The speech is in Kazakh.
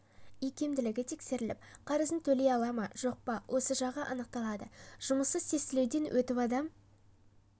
икемділігі тексеріліп қарызын төлей ала ма жоқ па осы жағы анықталады жұмыссыз тестілеуден өтіп адам